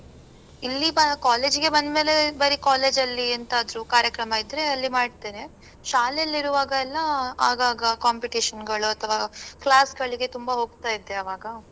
ಇಲ್ಲಿ college ಇಗೆ ಬಂದ್ ಮೇಲೆ ಬರಿ college ಅಲ್ಲಿ ಎಂಥಾದ್ರು ಕಾರ್ಯಕ್ರಮ ಇದ್ರೇ ಅಲ್ಲಿ ಮಾಡ್ತೇನೆ. ಶಾಲೆಯಲ್ಲಿ ಇರುವಾಗಯೆಲ್ಲಾ ಆಗಾಗ competition ಗಳು ಅಥವಾ class ಗಳಿಗೆ ತುಂಬಾ ಹೋಗ್ತಾ ಇದ್ದೆ ಆವಾಗ.